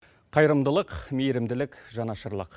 қайырымдылық мейірімділік жанашырлық